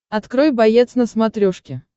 открой боец на смотрешке